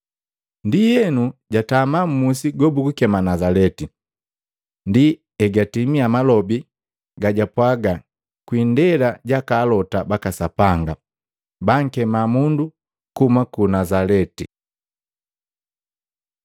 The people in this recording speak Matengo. ndienu jatama mmusi gobugukema Nazaleti. Ndi egatimia malobi gajapwaga kwi indela jaka alota baka Sapanga, “Bankema mundu kuhuma ku Nazaleti.”